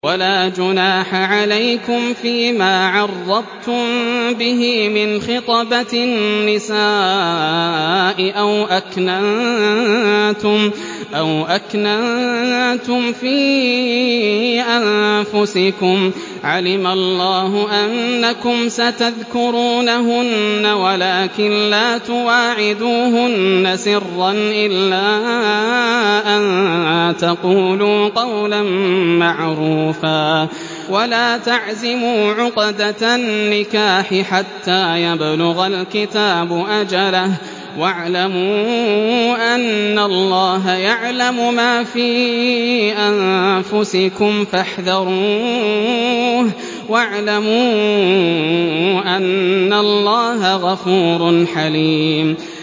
وَلَا جُنَاحَ عَلَيْكُمْ فِيمَا عَرَّضْتُم بِهِ مِنْ خِطْبَةِ النِّسَاءِ أَوْ أَكْنَنتُمْ فِي أَنفُسِكُمْ ۚ عَلِمَ اللَّهُ أَنَّكُمْ سَتَذْكُرُونَهُنَّ وَلَٰكِن لَّا تُوَاعِدُوهُنَّ سِرًّا إِلَّا أَن تَقُولُوا قَوْلًا مَّعْرُوفًا ۚ وَلَا تَعْزِمُوا عُقْدَةَ النِّكَاحِ حَتَّىٰ يَبْلُغَ الْكِتَابُ أَجَلَهُ ۚ وَاعْلَمُوا أَنَّ اللَّهَ يَعْلَمُ مَا فِي أَنفُسِكُمْ فَاحْذَرُوهُ ۚ وَاعْلَمُوا أَنَّ اللَّهَ غَفُورٌ حَلِيمٌ